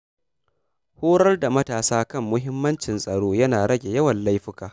Horar da matasa kan muhimmancin tsaro yana rage yawan laifuka.